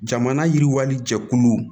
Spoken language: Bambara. Jamana yiriwali jɛkulu